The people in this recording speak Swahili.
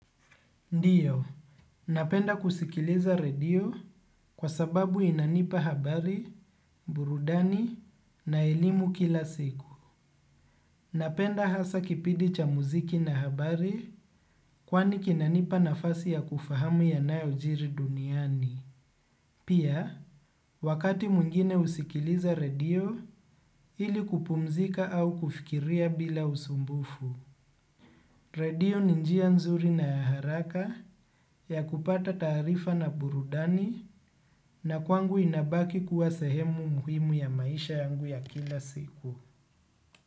Ndiyo, napenda kusikiliza radio kwa sababu inanipa habari, burudani na elimu kila siku. Napenda hasa kipidi cha muziki na habari kwani kinanipa nafasi ya kufahamu yanayojiri duniani. Pia, wakati mwingine usikiliza radio ili kupumzika au kufikiria bila usumbufu. Radio ni njia nzuri na ya haraka ya kupata taarifa na burudani na kwangu inabaki kuwa sehemu muhimu ya maisha yangu ya kila siku.